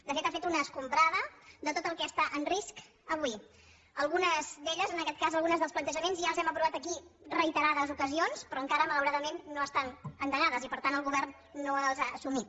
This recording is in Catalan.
de fet ha fet una escombrada de tot el que està en risc avui algunes d’elles en aquest cas alguns dels plantejaments ja els hem aprovat aquí reiterades ocasions però encara malauradament no estan endegats i per tant el govern no els ha assumit